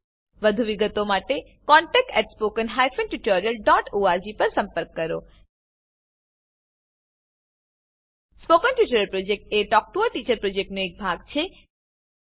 વધુ વિગતો માટે કૃપા કરી contactspoken tutorialorg પર લખો spoken tutorial project talk to a teacher પ્રોજેક્ટનો એક ભાગ છે